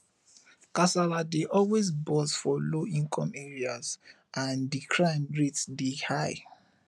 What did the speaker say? kasala dey always burst for low income areas and di crime rate dey high